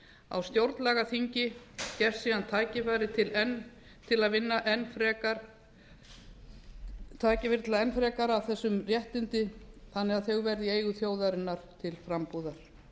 á stjórnlagaþingi gefst síðan tækifæri til að vinna enn frekar að þessum réttindum þannig að þau verði í eigu þjóðarinnar til frambúðar